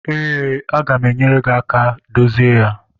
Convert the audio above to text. Eé, aga m enyere gị aka dozie ya.